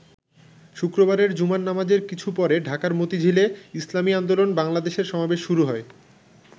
শুক্রবারের জুমার নামাজের কিছু পরে ঢাকার মতিঝিলে ইসলামী আন্দোলন বাংলাদেশের সমাবেশ শুরু হয়।